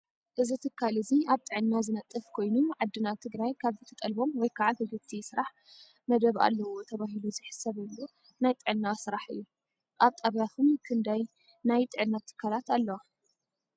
እዚ ትካል እዚ ኣብ ጥዕና ዝነጥፍ ኮይኑ ዓድና ትግራይ ካብ እትጠልቦም ወይ ከዓ ክግቲ ስራሕ መደብ ኣለው ተባሂሉ ዝሕሰበሉ ናይ ጥዕና ስራሕ እዩ። ኣብ ጣብያኩም ክንዳይ ናይ ጥዕና ትካላት ኣለዋ።